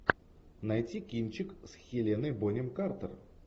найти кинчик с хеленой бонем картер